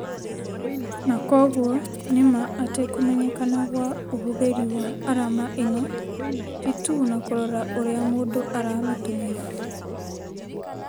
Na kwoguo nĩ ma atĩ kũmenyekana gwa ũhũthĩri wa arama ĩno ti tu na kũrora ũrĩa mũndũ aramĩtũmĩra